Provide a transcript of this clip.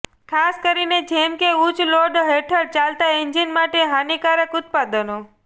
ખાસ કરીને જેમ કે ઉચ્ચ લોડ હેઠળ ચાલતા એન્જિન માટે હાનિકારક ઉત્પાદનો